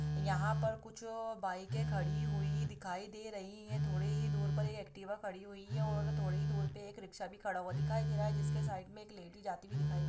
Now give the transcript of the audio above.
यहाँ पर कुछ-ऊ बाइक खड़ी हुई दिखाई दे रही हैं थोड़ी ही दूर में एक्टिव खड़ी हुई है और थोड़ी ही दूर में रिक्शा भी खड़ा दिखाई दे रहा है इसके साइड में एक लेडिस जाते हुए दिखाई दे रही है।